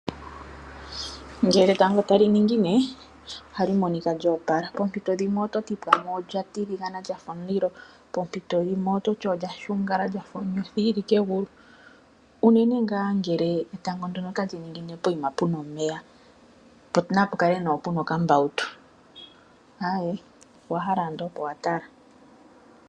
Ngele etango tali ningine ohali monika lyo opala. Poompito dhimwe ohali kala lya tiligana lya fa omulilo, pompito yimwe olya shungala lya fa onyothi yi li kegulu unene tuu ngele etango ndyono otali ningine pokuma pu na omeya nokambautu, aaye, owa hala owala ando oko wa tala.